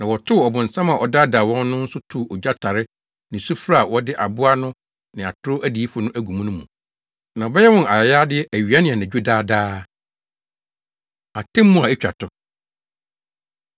Na wɔtow ɔbonsam a ɔdaadaa wɔn no nso too ogya tare ne sufre a wɔde aboa no ne atoro odiyifo no agu mu no mu. Na wɔbɛyɛ wɔn ayayade awia ne anadwo daa daa. Atemmu A Etwa To